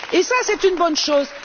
Et c'est une bonne chose.